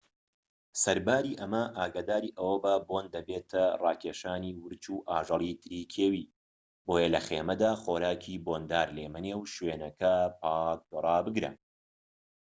سەرباری ئەمە ئاگاداری ئەوەبە بۆن دەبێتە ڕاکێشانی ورچ و ئاژەڵی تری کێوی بۆیە لە خێمەدا خۆراکی بۆندار لێمەنێ و شوێنەکە پاك رابگرە